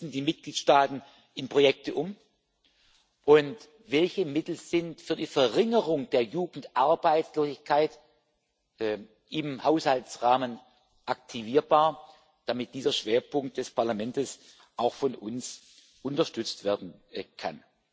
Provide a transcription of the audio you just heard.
die Mitgliedstaaten in Projekte umsetzen und welche Mittel für die Verringerung der Jugendarbeitslosigkeit im Haushaltsrahmen aktivierbar sind, damit dieser Schwerpunkt des Parlamentes auch von uns unterstützt werden kann.